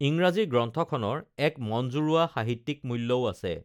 ইংৰাজী গ্ৰন্থখনৰ এক মন জুৰোৱা সাহিত্যিক মূল্যও আছে